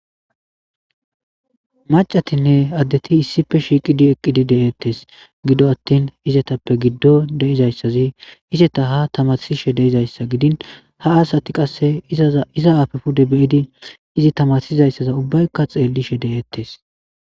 macatinne addeti issife shiiqidi eqqidi de7eettes gido attin izetappe giddo deizayssazi iseta ha tamarsishe deizayssa gidin ha aasati qasse iza afe pude beyidi izi tamarsizayssaza ubbaykka xeellishe de7eettes